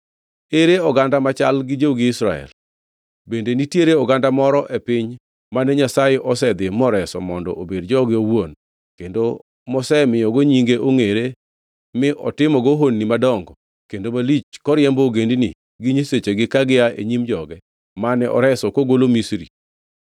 Ere oganda machal gi jogi Israel? Bende nitiere oganda moro e piny mane Nyasaye osedhi moreso mondo obed joge owuon kendo mosemiyogo nyinge ongʼere mi otimogo honni madongo kendo malich koriembo ogendini gi nyisechegi ka gia e nyim joge, mane oreso kogolo Misri?